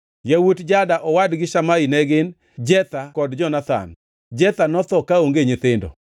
Yawuot Jada owadgi Shamai ne gin: Jetha kod Jonathan. Jetha notho kaonge nyithindo.